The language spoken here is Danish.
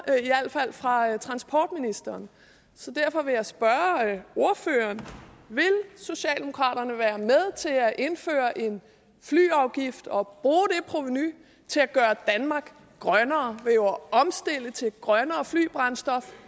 i al fald fra transportministeren derfor vil jeg spørge ordføreren vil socialdemokraterne være med til at indføre en flyafgift og bruge det provenu til at gøre danmark grønnere ved at omstille til et grønnere flybrændstof